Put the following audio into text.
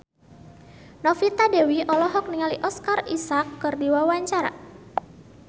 Novita Dewi olohok ningali Oscar Isaac keur diwawancara